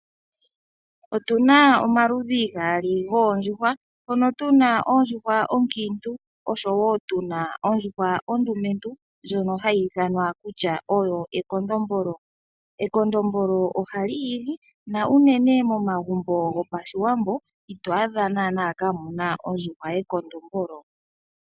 Otu na omaludhi gaali goondjuhwa mono tu na ondjuhwa onkiitu oshowoo tuna ondjuhwa ondumentu ndjono hayi ithanwa kutya oyo ekondombolo. Ekondombolo ohali igi. Uunene momagumbo gopashiwambo, ito adha naanaa kaamuna ondjuhwa yekondombolo.